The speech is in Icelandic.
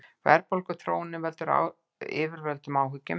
Verðbólguþróunin veldur yfirvöldum áhyggjum